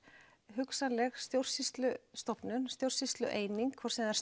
hugsanleg stjórnsýslustofnun eða stjórnsýslueining hvort sem það